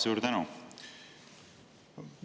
Suur tänu!